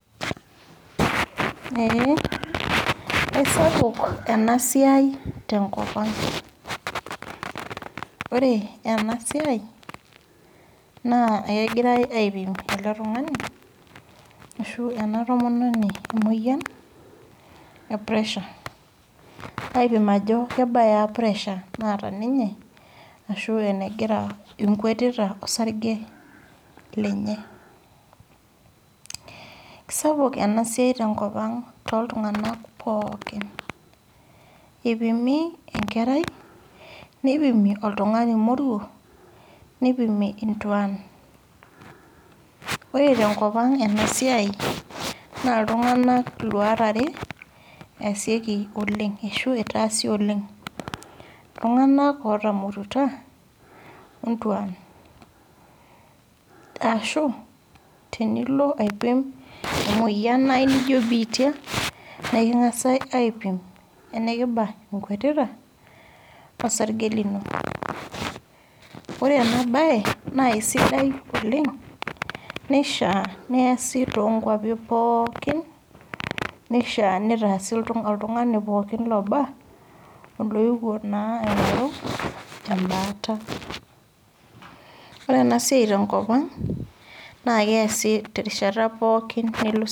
ee esapuk ena siai tenkop ang ore enasiai kegirai aipim ele tung'ani ashu ena tomononi emoyian ee pressure[Ajo kebaa pressure naata too sesen lenye ashu enkwetita osarge lenye kisapuk enasiai tenkop ang too iltung'ana pookin eipimi enkerai nipimi oltung'ani moruo nipimi entuan ore tenkop ang naa iltungana eluat are eitase iltung'ana otamorutua oonguan ashu tenilo aipim emoyian naijio bitia niking'as aipim enibaa enkwetita osarge lino ore ena mbae enaa sidai oleng nishaa neese too nkwapii pookin nishaa nitaase oltung'ani pookin looba oloyewuo naa aing'oru ebaataore ena siai tenkop ang naa keesi terishata pookin nilo sipitali